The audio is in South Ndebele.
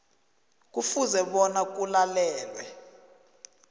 kufuze bona kulalelwe